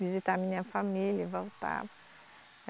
Visitar a minha família e voltar.